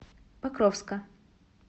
покровска